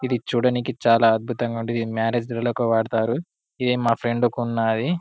ఇది చుడనికి చాలా అద్భుతంగా ఉంది మ్యారేజ్ లకు వాడతారు. ఇదే మా ఫ్రెండ్ కి ఉన్నది.